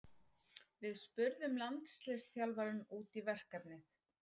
Við spurðum landsliðsþjálfarann út í verkefnið.